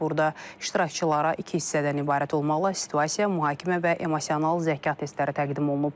Burda iştirakçılara iki hissədən ibarət olmaqla situasiya, mühakimə və emosional zəka testləri təqdim olunub.